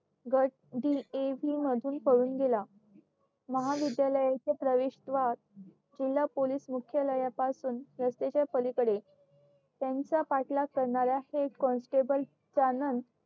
गट मधून पळून गेला महाविद्यालयाचे प्रवेश द्वार जिल्हा पोलीस मुख्यालयाच्या पासून रस्तेच्या पलीकडे त्यांचा पाठलाग करणाऱ्या हेड कॉन्स्टेबल